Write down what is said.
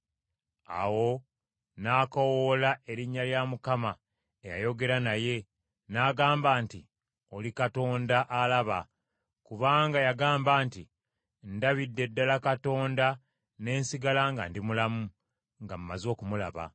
Awo n’akoowoola erinnya lya Mukama eyayogera naye, n’agamba nti, “Oli Katonda alaba”, kubanga yagamba nti, “Ndabidde ddala Katonda ne nsigala nga ndi mulamu nga maze okumulaba.”